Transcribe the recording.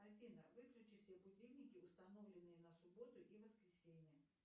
афина выключи все будильники установленные на субботу и воскресенье